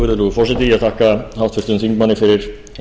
virðulegur forseti ég þakka háttvirtum þingmanni fyrir